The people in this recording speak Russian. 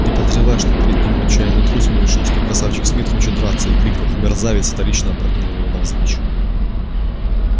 не подозревая что перед ним отчаянный трус он решил что красавчик смит хочет драться и крикнув мерзавец вторично опрокинул его навзничь